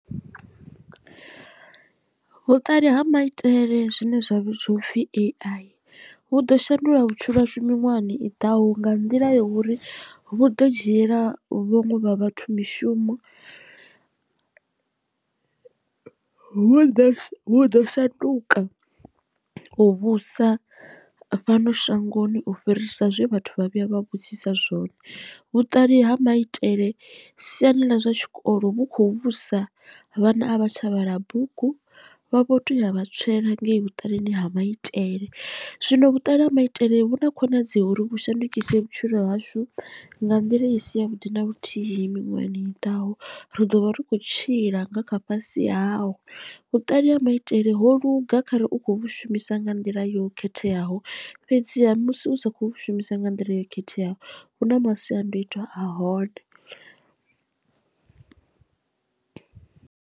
Vhuṱali ha maitele zwine zwa vhidziwa upfhi A_I vhu ḓo shanduka vhutshilo hashu miṅwahani i ḓaho nga nḓila ya uri vhu ḓo dzhiela vhaṅwe vha vhathu mishumo hu ḓe hu ḓo shanduka u vhusa fhano shangoni u fhirisa zwe vhathu vha vhuya vha vhudzisa zwone. Vhuṱali ha maitele siani ḽa zwa tshikolo vhu kho vhusa vhana a vha tsha vhala bugu vha vho to ya vha tswela ngei vhuṱalini ha maitele zwino vhuṱali ha maitele vhu na khonadzeo uri vhu shandukise vhutshilo hashu nga nḓila i si ya vhuḓi na luthihi miṅwahani i ḓaho ri ḓo vha ri khou tshila nga kha fhasi hawo vhuṱali ha maitele ho luga khare u kho vhu shumisa nga nḓila yo khetheaho fhedziha musi u sa khou shumisa nga nḓila yo khetheaho hu na masiandoitwa a hone.